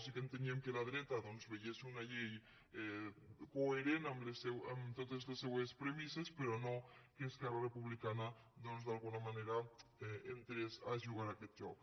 sí que enteníem que la dreta veiés una llei coherent amb totes les seues premisses però no que esquerra republicana doncs d’alguna manera entrés a jugar a aquest joc